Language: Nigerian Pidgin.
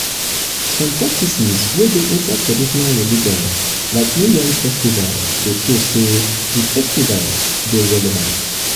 some practices wey dey inside traditional religion like new yam festival dey show sey di festivals dey relevant